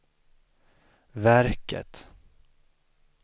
verket